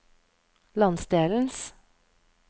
landsdelens